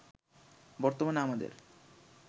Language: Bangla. বর্তমানে আমাদের